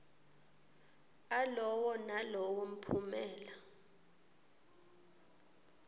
alowo nalowo mphumela